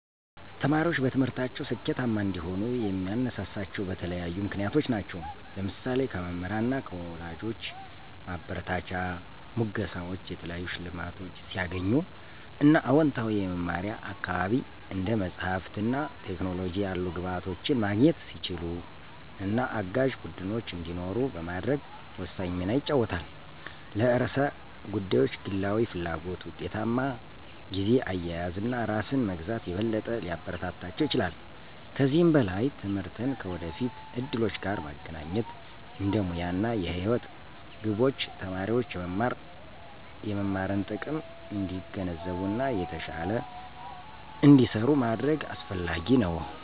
ተማሪዎች በትምህርታቸው ስኬታማ እንዲሆኑ የሚያነሳሳቸው በተለያዩ ምክንያቶች ናቸው። ለምሳሌ:- ከመምህራን እና ከወላጆች ማበረታቻ፣ ሙገሳወች፣ የተለያዩ ሸልማቶች ሲያገኙ እና አወንታዊ የመማሪያ አካባቢ፣ እንደ መጽሐፍት እና ቴክኖሎጂ ያሉ ግብዓቶችን ማግኘት ሲችሉ እና አጋዥ ቡድኖች እንዲኖሩ በማድረግ ወሳኝ ሚና ይጫወታል። ለርዕሰ ጉዳዮች ግላዊ ፍላጎት፣ ውጤታማ ጊዜ አያያዝ እና ራስን መግዛት የበለጠ ሊያበረታታቸው ይችላል። ከዚህም በላይ ትምህርትን ከወደፊት እድሎች ጋር ማገናኘት እንደ ሙያ እና የህይወት ግቦች ተማሪዎች የመማርን ጥቅም እንዲገነዘቡ እና የተሻለ እንዲሰሩ ማድረግ አሰፍላጊ ነው።